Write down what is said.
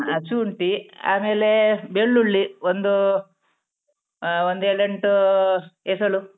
ಹ ಶುಂಠಿ ಬೆಳ್ಳುಳ್ಳಿ ಒಂದೂ ಆ ಒಂದು ಏಳ್ ಎಂಟೂ ಎಸಳು.